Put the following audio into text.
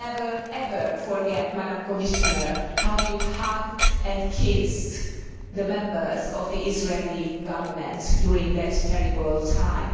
I will never ever forget, Commissioner, how you hugged and kissed the members of the Israeli Government during that terrible time.